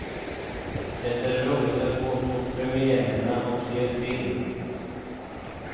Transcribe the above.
Det är roligt att gå på premiärerna och se på film.